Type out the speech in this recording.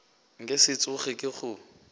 nka se tsoge ke go